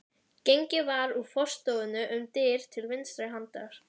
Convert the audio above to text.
Gengið var úr forstofunni um dyr til vinstri handar.